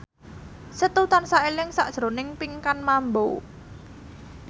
Setu tansah eling sakjroning Pinkan Mambo